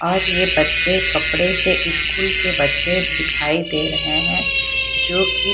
और ये बच्चे कपड़े से स्कूल के बच्चे से दिखाई दे रहे हैं जोकि --